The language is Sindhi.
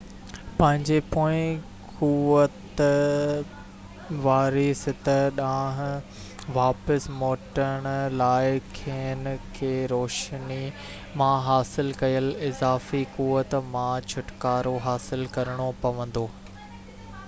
پنهنجي پوئين قوت واري سطح ڏانهن واپس موٽڻ لاءِ کين کي روشني مان حاصل ڪيل اضافي قوت مان ڇوٽڪارو حاصل ڪرڻو پوندو